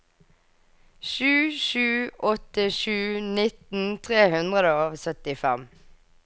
sju sju åtte sju nitten tre hundre og syttifem